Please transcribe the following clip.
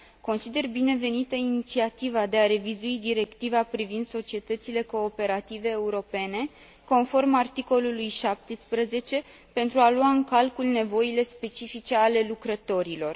Consider binevenită inițiativa de a revizui Directiva privind societățile cooperative europene conform articolului 17, pentru a lua în calcul nevoile specifice ale lucrătorilor.